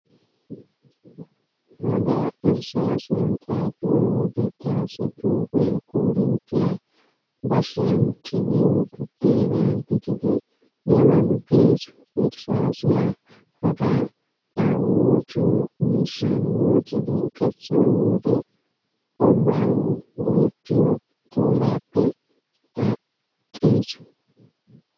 Hagaa irsaasiyan xaafiyo wode taassi xuufee korinttiyaa bashiyan tigiyo buddeenaa gididi yololu gees. Irsaasiya hagaa A woociyo miishshan woocidi kessiyo wode olawu go'ettiyo tooraappe aaxxees.